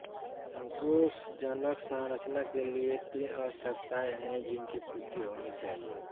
संतोषजनक संरचना के लिए तीन आवश्यकताएँ हैं जिनकी पूर्ति होनी चाहिए